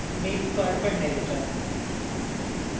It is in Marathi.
मिल्क कड पण नाही त्याच्यात